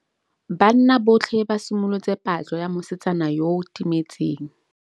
Banna botlhê ba simolotse patlô ya mosetsana yo o timetseng.